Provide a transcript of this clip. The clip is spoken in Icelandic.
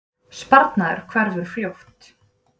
Sparnaður hverfur fljótt